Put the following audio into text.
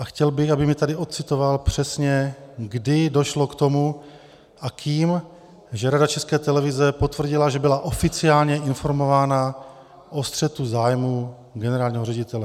A chtěl bych, aby mi tady odcitoval přesně, kdy došlo k tomu a kým, že Rada České televize potvrdila, že byla oficiálně informována o střetu zájmů generálního ředitele.